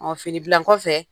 Ɔ fini bila nkɔfɛ